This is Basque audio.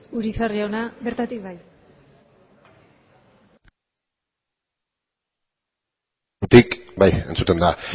urizar jauna bertatik bai bai entzuten da